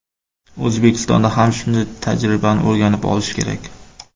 O‘zbekistonda ham shunday tajribani o‘rganib olish kerak.